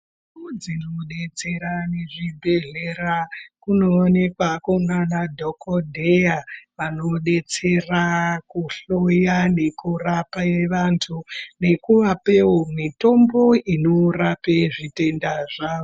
Dzinomudetsera nezvibhedhlera kuonekwa kunana dhokodheya vanodetsera kuhloya nekurape vantu nekuvapewo mitombo inorape zvitenda zvawo.